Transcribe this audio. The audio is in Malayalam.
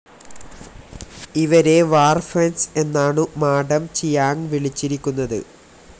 ഇവരെ വാർഫെൻസ് എന്നാണു മാഡം ചിയാങ് വിളിച്ചിരിക്കുന്നത്